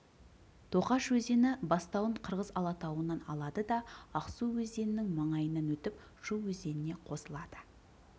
тоқаш өзені бастауын қырғыз алатауынан аладыда ақсу өзенінің маңайынан өтіп шу өзеніне қосылады